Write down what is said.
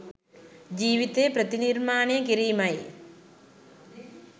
ජීවිතය ප්‍රතිනිර්මාණය කිරීමයි